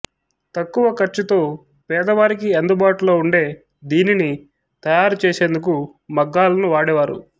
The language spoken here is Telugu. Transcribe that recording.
తక్కువ ఖర్చుతో పేదవారికి అందుబాటులో ఉండే దీనిని తయారు చేసేందుకు మగ్గాలను వాడేవారు